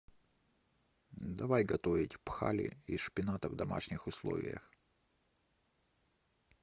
давай готовить пхали из шпината в домашних условиях